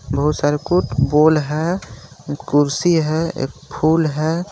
बोहोत सारे फुटबोल है एक कुर्सी है एक फूल है।